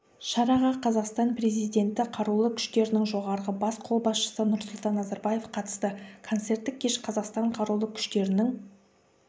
шараға қазақстан президенті қарулы күштерінің жоғарғы бас қолбасшысы нұрсұлтан назарбаев қатысты концерттік кеш қазақстан қарулы күштерінің